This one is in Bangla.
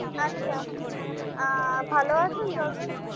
আচ্ছা আহ ভালো আছেন দাদা